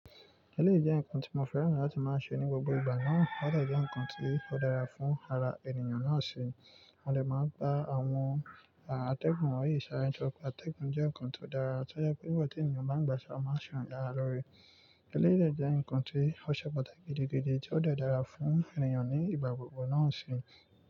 Eléyìí jẹ́ nǹkan tí mo fẹ́ràn láti máa ṣe ní gbogbo ìgbà náà, ó de jẹ́ nǹkan tí ó dára fún ara ènìyàn náà sì mo dè máa n gba àwọn àtẹ̀gùn won yi sára. Ǹjẹ́ wípé àtẹ̀gùn jẹ́ nǹkan tí ó dára àti ó yẹ kí nígbà tí ènìyàn bá ń gbaṣọ máa ṣọ̀yà lórí. Eléyìí jẹ́ nǹkan tí ó ṣẹ́pẹ́ gidi gidi tí ó dàra fún ènìyàn ní ìgbà gbogbo náà sì.